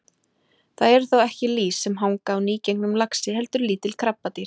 Það eru þó ekki lýs sem hanga á nýgengnum laxi heldur lítil krabbadýr.